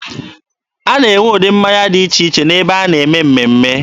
A na-enwe ụdị mmanya dị iche iche n'ebe a na-eme mmemme.